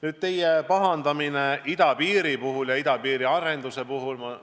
Nüüd, te pahandate idapiiri ja selle arendusega seoses.